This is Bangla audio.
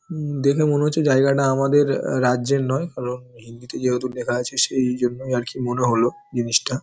উম দেখে মনে হচ্ছে জায়গাটা আমাদের আ রাজ্যের নয় কারণ হিন্দিতে যেহেতু লেখা আছে সেই জন্যই আরকি মনে হলো জিনিসটা।